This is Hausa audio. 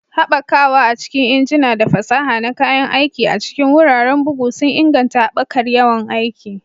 Haɓakawa a cikin injina da fasaha na kayan aiki a cikin wuraren bugu sun inganta haɓakar yawan aiki